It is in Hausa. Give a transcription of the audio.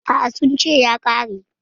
A'a, sun ce ya ƙare.